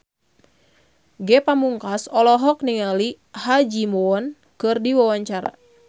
Ge Pamungkas olohok ningali Ha Ji Won keur diwawancara